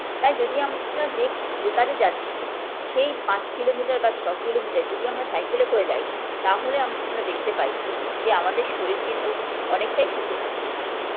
তাই যদি আমরা যে যেকাজে যাচ্ছি সেই পাঁচ kilometre বা ছ kilometre যদি আমরা cycle -এ করে যাই তাহলে আমরা দেখতে পাই যে আমাদের শরীর কিন্তু অনেকটাই সুস্থ থাকে